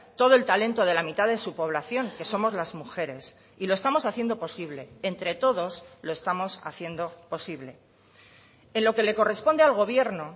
todo el talento de la mitad de su población que somos las mujeres y lo estamos haciendo posible entre todos lo estamos haciendo posible en lo que le corresponde al gobierno